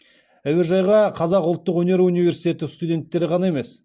әуежайға қазақ ұлттық өнер университеті студенттері ғана емес